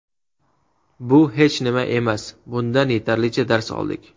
Bu hech nima emas, bundan yetarlicha dars oldik.